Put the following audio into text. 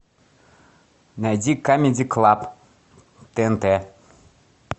найди камеди клаб тнт